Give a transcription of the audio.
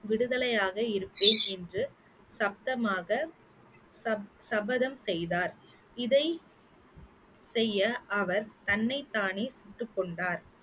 விடுதலையாக இருப்பேன் என்று சத்தமாக சப~ சபதம் செய்தார் இதை செய்ய அவர் தன்னைத்தானே சுட்டுக்கொண்டார்